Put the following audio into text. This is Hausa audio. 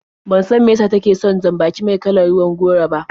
Ban san mai yasa take son jan-baki me kalar ruwan goro ba.